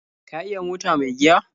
Ka iya mota mai giya?